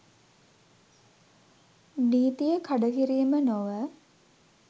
නීතිය කඩකිරීම නොව